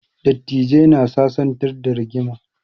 Dattijai na sasantar da rigima